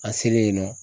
An selen yen nɔ